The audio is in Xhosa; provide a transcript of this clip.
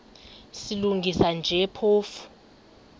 silungisa nje phofu